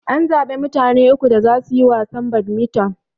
An zaɓa mutane uku da zasu yi wasan badmiton.